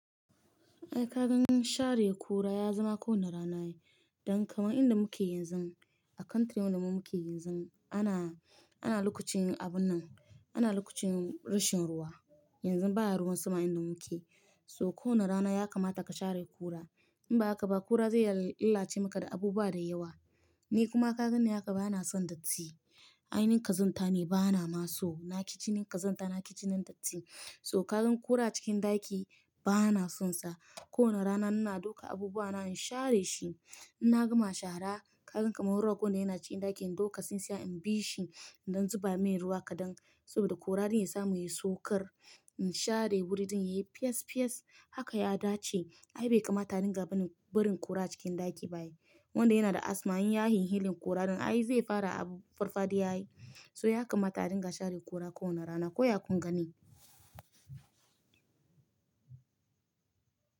Ai ka ganin share kura ya zama ko wane rana. Don kamar inda muke yanzu, a country wanda muke yanzu ana, ana lokacin abun nan, ana lokacin rashin ruwa. Yanzu ba ruwan sama inda muke. So ko wane rana ya kamata ka share kura. In ba haka ba kura zai lalace maka da abu ba da yawa. Ni kuma ka ganin haka bana son datti. Aini ƙazanta ne bana ma so. Naƙi ci jinin ƙazanta, naƙi jinin datti. So ka gan ƙura cikin ɗaki bana sonsa. Ko wane rana ina dauka abubuwa na in share shi. In na gama shara, ka gan kamar rago na yana cikin ɗaki, in dauka sin siya in bi shi, in don zuba mai ruwa kaɗan saboda kurarin ya samu ya saukar. In share wuri don yayi fiyes fiyes haka ya dace. Ai bai kamata ringa barin, barin kura cikin ɗaki ba. Wanda yana da asma in yayi hili hili kurarin ai zai fara abu farfaɗiya yayi. So ya kamata ringa share kura ko wane rana. Ko ya kun gani?